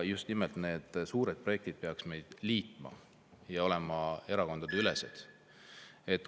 Just nimelt suured projektid peaks meid liitma ja olema erakondadeülesed.